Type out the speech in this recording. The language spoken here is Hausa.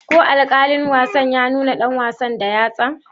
Ko alkalin wasa ya nuna dan wasan da yatsa?